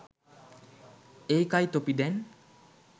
ඒකයි තොපි දැන්